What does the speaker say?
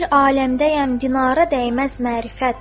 Öylə bir aləmdəyəm dinara dəyməz mərifət.